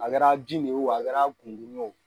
A kɛra bin de wo a kɛra gungurun ye